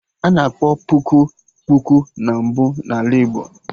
Ana akpọ puku, kpuku na mbụ na Ala Igbo